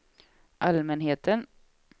allmänheten